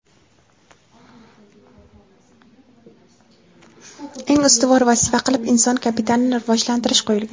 eng ustuvor vazifa qilib inson kapitalini rivojlantirish qo‘yilgan.